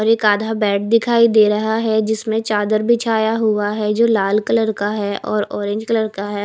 और एक आधा बेड दिखाई दे रहा है जिसमें चादर बिछाया हुआ है जो लाल कलर का है और ऑरेंज कलर का है।